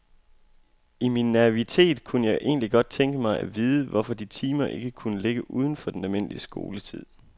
I min naivitet kunne jeg egentlig godt tænke mig at vide, hvorfor de timer ikke kunne ligge uden for den almindelige skoletid.